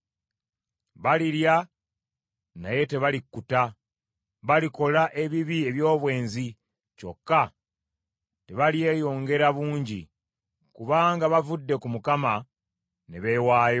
“Balirya naye tebalikkuta, balikola ebibi eby’obwenzi kyokka tebalyeyongera bungi, kubanga bavudde ku Mukama ne beewaayo